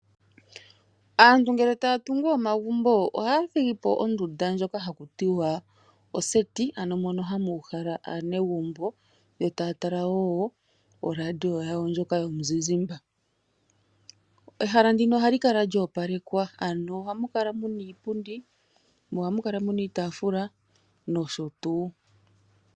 Aantu ngele taya tungu omagumbo oha thigipo ondunda ndjoka haku tiwa oseti. Ano mono hamu uhala aanegumbo eta ya tala wo radio yawo ndjoka yomuzizimba. Ehala ndino ohali kala lyoopalekwa ano oha mu kala muna iipundi mo oha mu kala muna iitafula noshotuu.